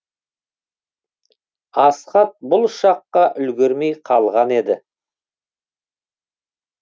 асхат бұл ұшаққа үлгермей қалған еді